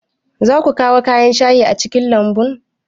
Za ku kawo kayan shayi a cikin lambun?